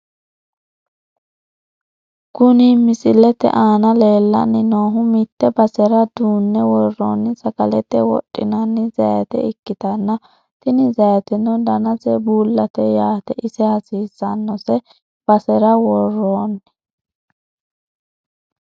Kuni misilete aana lellanni noohu mitte basera duunne worroonni sagalete wodhinani zayiite ikkitanna. tini zayiiteno danase bullate yaate, ise hasiisannose basera worroonni.